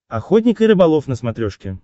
охотник и рыболов на смотрешке